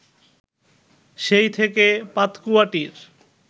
সেই থেকে পাতকুয়াটির